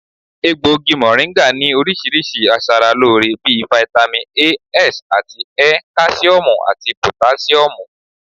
Egbògi mọ̀ríńgà ní oríṣiríṣi aṣaralóore bí i fitami A, S àti Ẹ, káṣíọ̀mù àti pòtáṣíọ̀mù